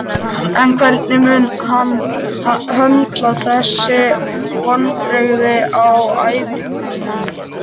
En hvernig mun hann höndla þessi vonbrigði á æfingum?